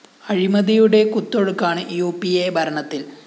അഴിമതിയുടെ കുത്തൊഴുക്കാണ് U P A ഭരണത്തില്‍